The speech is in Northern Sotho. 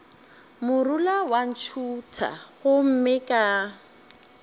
morula wa ntšhutha gomme ka